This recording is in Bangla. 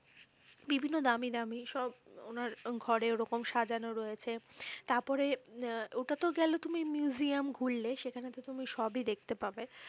বিভিন্ন দামি দামি সব ওনার ঘরে ওরকম সাজানো রয়েছে। তারপরে আহ ওটাতো গেলো তুমি মিউজিয়াম ঘুরলে সেখানেতো তুমি সবই দেখতে পাবে।